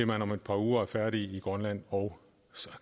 man om et par uger er færdige i grønland og